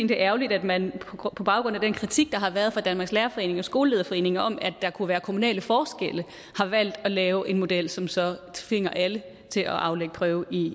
det er ærgerligt at man på baggrund af den kritik der har været fra danmarks lærerforening og skolelederforeningen om at der kunne være kommunale forskelle har valgt at lave en model som så tvinger alle til at aflægge prøve i